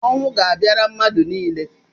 Ọnwụ ga-abịara mmadụ niile.